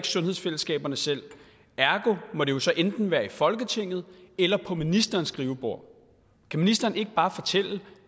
sundhedsfællesskaberne selv ergo må det jo så enten være i folketinget eller på ministerens skrivebord kan ministeren ikke bare fortælle